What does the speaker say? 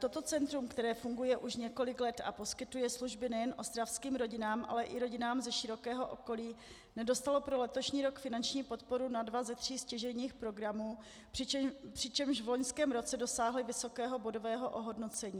Toto centrum, které funguje už několik let a poskytuje služby nejen ostravským rodinám, ale i rodinám ze širokého okolí, nedostalo pro letošní rok finanční podporu na dva ze tří stěžejních programů, přičemž v loňském roce dosáhlo vysokého bodového ohodnocení.